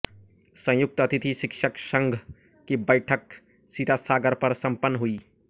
संयुक्त अतिथि शिक्षक संघ की बैठक सीतासागर पर संपन्न हुई